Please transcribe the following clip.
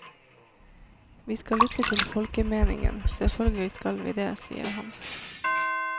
Vi skal lytte til folkemeningen, selvfølgelig skal vi det, sier han.